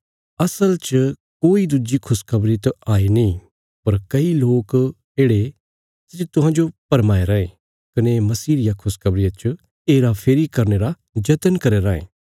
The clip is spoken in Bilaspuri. असल च कोई दुज्जी खुशखबरी त हाई नीं पर कई लोक येढ़े सै जे तुहांजो भरमाये रायें कने मसीह रिया खुशखबरिया च हेराफेरी करने रा जतन करया रायें